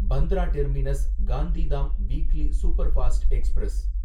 Bandra terminus Gandhidham weekly superfast express